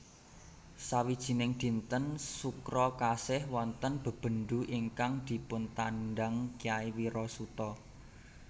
Sawijining dinten Sukra Kasih wonten bebendu ingkang dipuntandang Kyai Wirasuta